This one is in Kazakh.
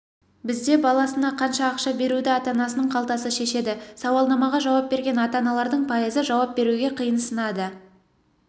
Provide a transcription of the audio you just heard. бізде баласына қанша ақша беруді ата-анасының қалтасы шешеді сауалнамаға жауап берген ата-аналардың пайызы жауап беруге қиынсынады